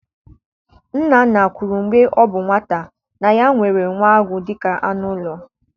Nna nna kwuru mgbe ọ bụ nwata na ya nwere nwa agụ dịka anụ ụlọ